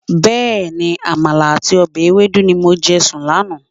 Bẹẹni, Àmàlà àti ọbẹ̀ ewedu ni mo jẹ sùn lánàá.